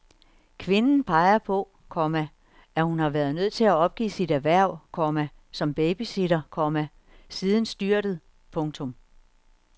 Kvinden peger på, komma at hun har været nødt til at opgive sit erhverv, komma som babysitter, komma siden styrtet. punktum